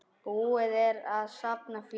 Búið er að safna fé.